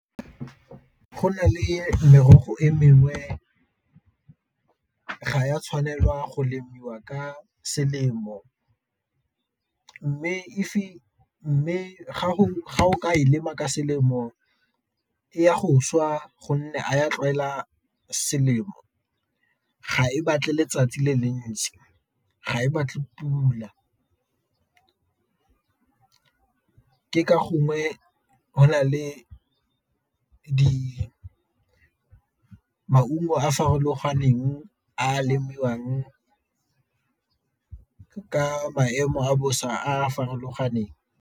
Go nale merogo e mengwe ga ya tshwanelwa go lemiwa ka selemo, mme fa o ka e lema ka selemo ya go swa gonne a ya tlwaela selemo, ga e batle letsatsi le le ntsi, ga e batle pula. Ke ka gongwe go na le maungo a a farologaneng a lemiwang ka maemo a bosa a a farologaneng.